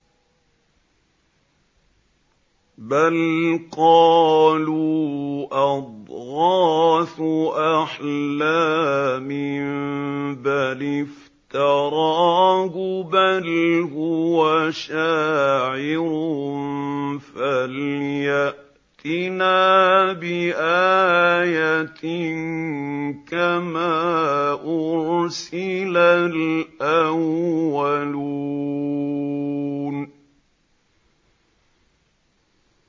بَلْ قَالُوا أَضْغَاثُ أَحْلَامٍ بَلِ افْتَرَاهُ بَلْ هُوَ شَاعِرٌ فَلْيَأْتِنَا بِآيَةٍ كَمَا أُرْسِلَ الْأَوَّلُونَ